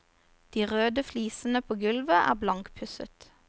De røde flisene på gulvet er blankpusset.